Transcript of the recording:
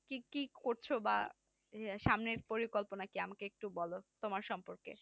ঠিক কি করছো বা সামনের পরিকল্পনা কি? আমাকে একটু বলো তোমার সম্পর্কে